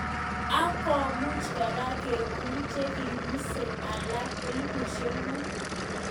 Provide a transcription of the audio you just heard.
Ak komuch kora kekur chekibusee alak elipushek muut.